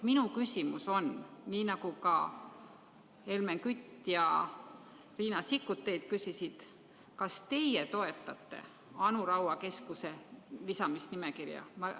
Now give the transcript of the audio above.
Minu küsimus on sama, mida ka Helmen Kütt ja Riina Sikkut teilt küsisid: kas teie toetate Anu Raua keskuse lisamist nimekirja?